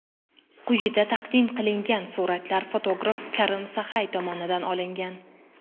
Quyida taqdim qilingan suratlar fotograf Karim Saxay tomonidan olingan.